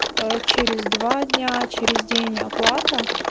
ээ через два дня через день оплата